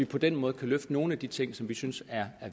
på den måde kan løfte nogle af de ting som vi synes er